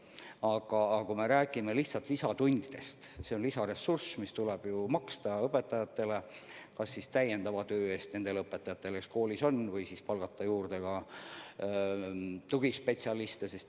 Aga kui me räägime lihtsalt lisatundidest, siis see on lisaraha, mis tuleb maksta täiendava töö eest nendele õpetajatele, kes koolis on, või siis palgata juurde tugispetsialiste.